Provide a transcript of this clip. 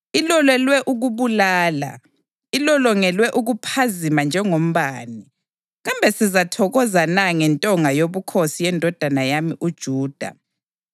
Ilolelwe ukubulala, ilolongelwe ukuphazima njengombane. Kambe sizathokoza na ngentonga yobukhosi yendodana yami uJuda? Inkemba iyazeyisa zonke izigodo ezinjalo.